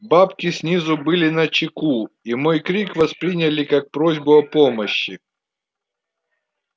бабки снизу были начеку и мой крик восприняли как просьбу о помощи